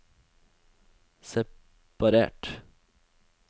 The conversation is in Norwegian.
separert